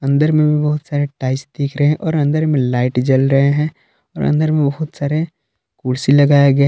अंदर में भी बहुत सारे टाइल्स दिख रहे हैं और अंदर में लाइट जल रहे हैं और अंदर में बहुत सारे कुर्सी लगाया गए --